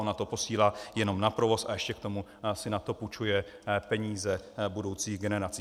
Ona to posílá jenom na provoz, a ještě k tomu si na to půjčuje peníze budoucích generací.